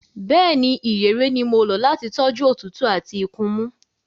Bẹ́ẹ̀ni, ìyèré ni mo lò láti tọ́jú òtútù àti ikunmú.